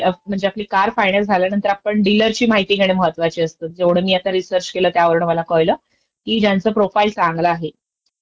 कडूनचं आपल्याला चागल्या डील्स येऊ शकतात, याशिवाय आपल्याला ऑफर्स आहेत सर्व्हिस, स्पोर्टसं मध्येही डीलरचं काम पडू शकतं.